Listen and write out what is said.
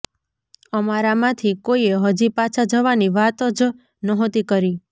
અમારામાંથી કોઈએ હજી પાછા જવાની વાત જ નહોતી કરી